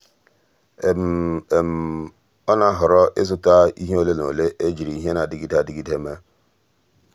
ọ́ nà-àhọ́rọ́ ị́zụ́ta ìhè ole na ole ejiri ìhè ndị nà-adị́gídè mèé.